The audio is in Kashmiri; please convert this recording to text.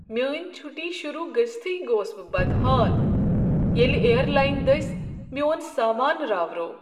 میٲنۍ چھُٹی شروٗع گٔژتھٕے گوس بہ بدحال ییٚلہ ایر لاین دٔسۍ میون سامانہ راوروو۔